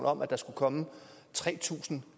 om at der skulle komme tre tusind